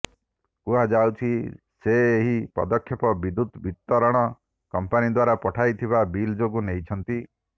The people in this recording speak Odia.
କୁହାଯାଉଛି ସେ ଏହି ପଦକ୍ଷେପ ବିଦ୍ୟୁତ ବିତରଣ କମ୍ପାନୀ ଦ୍ୱାରା ପଠାଯାଇଥିବା ବିଲ ଯୋଗୁଁ ନେଇଛନ୍ତି